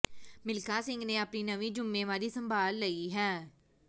ਮਿਲਖਾ ਸਿੰਘ ਨੇ ਆਪਣੀ ਨਵੀਂ ਜ਼ੁੰਮੇਵਾਰੀ ਸੰਭਾਲ ਲਈ ਹੈ